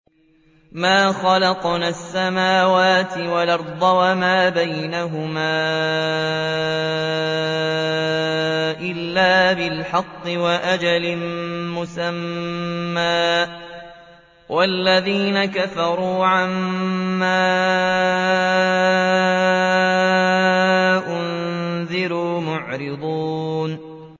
مَا خَلَقْنَا السَّمَاوَاتِ وَالْأَرْضَ وَمَا بَيْنَهُمَا إِلَّا بِالْحَقِّ وَأَجَلٍ مُّسَمًّى ۚ وَالَّذِينَ كَفَرُوا عَمَّا أُنذِرُوا مُعْرِضُونَ